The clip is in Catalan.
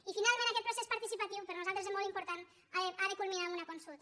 i finalment aquest procés participatiu per nosaltres és molt im·portant ha de culminar amb una consulta